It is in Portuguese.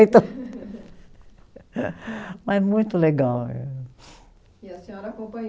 Mas muito legal, eh. E a senhora